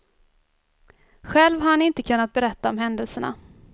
Själv har han inte kunnat berätta om händelserna.